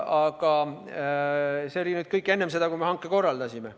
Aga see oli kõik enne seda, kui me hanke korraldasime.